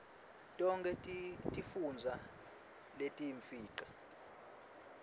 tonkhe tifundza letiyimfica